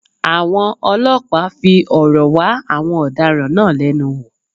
Àwọn ọlọ́pàá fi òrò wá àwọn ọ̀daràn náà lẹ́nu wò